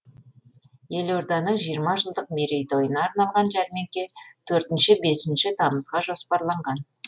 елорданың жиырма жылдық мерейтойына арналған жәрмеңке төртінші бесінші тамызға жоспарланған